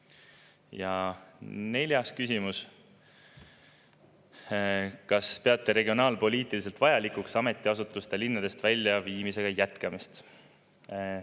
Ja neljas küsimus: "Kas peate regionaalpoliitiliselt vajalikuks ametiasutuste linnadest väljaviimisega jätkamist?